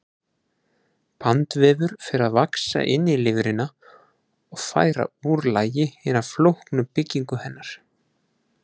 Bandvefur fer að vaxa inn í lifrina og færa úr lagi hina flóknu byggingu hennar.